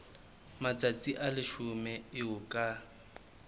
matsatsi a leshome eo ka